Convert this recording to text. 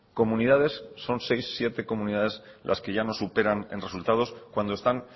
comunidades son seis siete comunidades las que ya nos superan en resultados cuando están